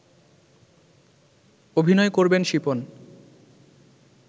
অভিনয় করবেন শিপন